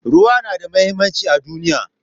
Ruwa yana da muhimmanci a duniya.